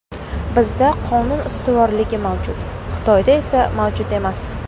Bizda qonun ustuvorligi mavjud, Xitoyda esa mavjud emas.